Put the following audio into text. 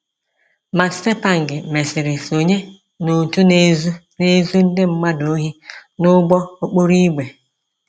Matsepang mesịrị sonye n’òtù na-ezu na-ezu ndị mmadụ ohi n’ụgbọ okporo ígwè.